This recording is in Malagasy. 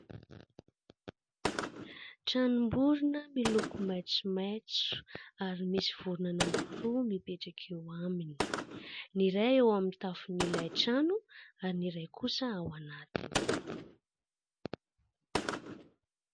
Tranom-borona miloko maitsomaitso ary misy vorona anankiroa mipetraka eo aminy. Ny iray eo amin'ny tafon'ilay trano ary ny iray kosa ao anatiny.